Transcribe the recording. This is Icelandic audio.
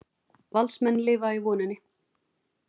Valsmenn lifa í voninni